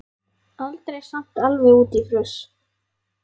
Aldrei samt alveg út í fruss.